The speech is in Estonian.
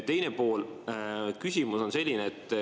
Teine pool küsimusest on selline.